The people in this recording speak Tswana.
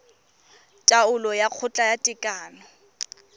taolo ya kgotla ya tekano